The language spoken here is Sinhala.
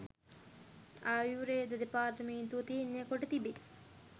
ආයුර්වේද දෙපාර්තමේන්තුව තීරණය කොට තිබේ